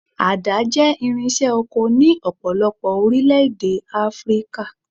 Àdá jẹ́ irinṣẹ́ oko ní ọ̀pọ̀lọpọ̀ orílẹ̀-èdè Áfríkà.